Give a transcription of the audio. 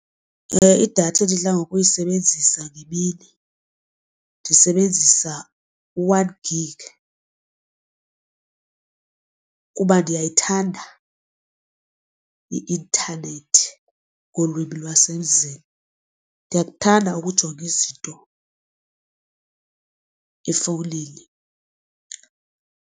Idatha endidla ngokuyisebenzisa ngemini ndisebenzisa u-one gig kuba ndiyayithanda i-intanethi ngolwimi lwasemzini, ndiyakuthanda ukujonga izinto efowunini.